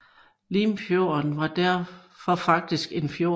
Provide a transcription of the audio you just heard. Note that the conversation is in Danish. Limfjorden var derfor faktisk en fjord